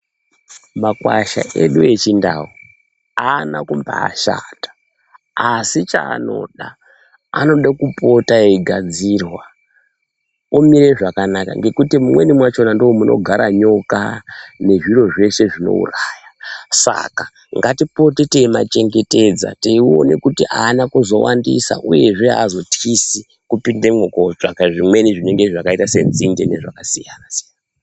Makwasha edu echindau haana kumbashata ASI chaanoda anoda kupota eigadzirwa omire zvakanaka nekuti mumweni machona ndimo munogara nyoka nezviro zveshe zvinouraya saka ngatipote teimachengetedza teiona kuti haana kuzowandisa uyezve haazothisi kupindamo kotsvaka zvimwe zvakaita sedzinde nezvakasiyana siyana .